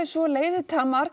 svo